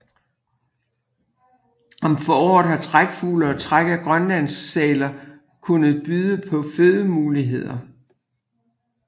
Om foråret har trækfugle og træk af grønlandssæler kunnet byde på fødemuligheder